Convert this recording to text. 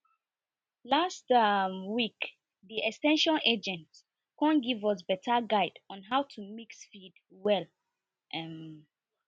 last um week the ex ten sion agent come give us better guide on how to mix feed well um